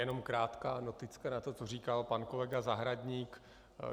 Jenom krátká noticka na to, co říkal pan kolega Zahradník.